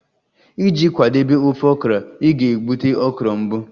Iji kwadebe ofe okra, ị ga-egbutu okra mbụ